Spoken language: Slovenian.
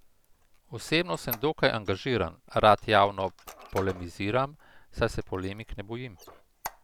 Osebno sem dokaj angažiran, rad javno polemiziram, saj se polemik ne bojim.